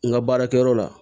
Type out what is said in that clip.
N ka baarakɛyɔrɔ la